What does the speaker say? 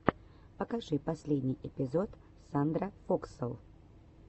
покажи последний эпизод сандрафокслол